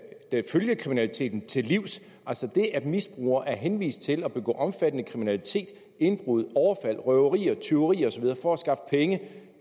følgekriminaliteten til livs altså det at misbrugere er henvist til at begå omfattende kriminalitet indbrud overfald røverier tyverier og så videre for at skaffe penge